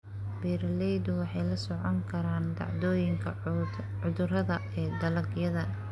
Beeraleydu waxay la socon karaan dhacdooyinka cudurrada ee dalagyada.